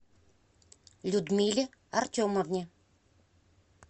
людмиле артемовне